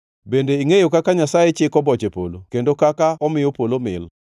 Bende ingʼeyo kaka Nyasaye chiko boche polo kendo kaka omiyo polo mil?